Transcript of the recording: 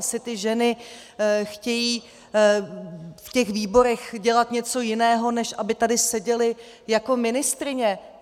Asi ty ženy chtějí v těch výborech dělat něco jiného, než aby tady seděly jako ministryně.